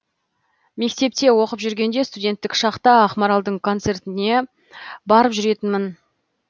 мектепте оқып жүргенде студенттік шақта ақмаралдың концерттеріне барып жүретінмін